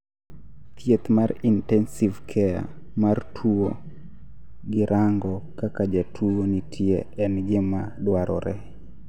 thieth mar intensive care mar tuwo gi rango kaka jatuwo nitie en gima dwarore